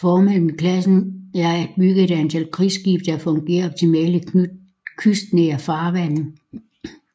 Formålet med klassen er at bygget et antal krigsskibe der fungerer optimalt i kystnære farvande